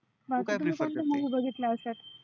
मग कोणत्या कोणत्या movie बघितल्या या वर्षामध्ये?